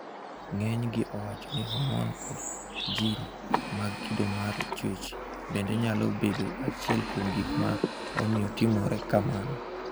Ng'eny gi owacho ni homon kod jin mag kido mar chuech bende nyalo bedo achiel kuom gik ma omiyo timore kamano.